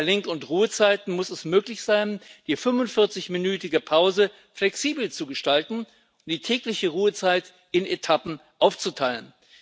Bei Lenk und Ruhezeiten muss es möglich sein, die 45 minütige Pause flexibel zu gestalten, die tägliche Ruhezeit in Etappen aufzuteilen.